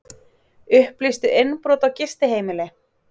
Upplýstu innbrot á gistiheimili